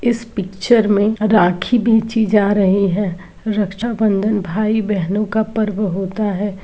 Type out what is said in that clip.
इस पिक्चर में राखी बेची जा रही हैं। रक्षाबंधन भाई-बहनो का पर्व होता है।